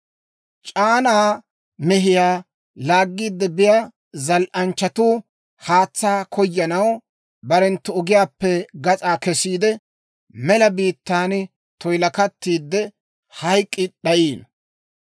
C'aanaa mehiyaa laaggiide biyaa zal"anchchatuu haatsaa koyanaw barenttu ogiyaappe gas'aa kesiide, mela biittan toyilakattiidde, hayk'k'i d'ayiino.